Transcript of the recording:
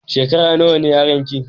Shekara nawa ne yaron ki?